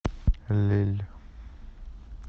лилль